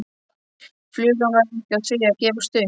Flugan var ekki á því að gefast upp.